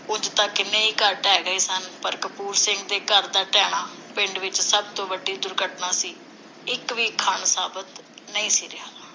ਉਂਝ ਤਾਂ ਕਿੰਨੇ ਹੀ ਘਰ ਢਹਿ ਗਏ ਸਨ, ਪਰ ਕਪੂਰ ਸਿੰਘ ਦਾ ਘਰ ਦਾ ਢਹਿਣਾ ਪਿੰਡ ਵਿਚ ਸਭ ਤੋਂ ਵੱਡੀ ਦੁਰਘਟਨਾ ਸੀ। ਇਕ ਵੀ ਖਣ ਸਾਬਤ ਨਹੀਂ ਸੀ ਰਿਹਾ।